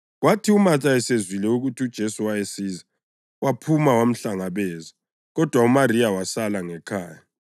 Kwathi uMatha esizwa ukuthi uJesu wayesiza, waphuma wamhlangabeza kodwa uMariya wasala ngekhaya.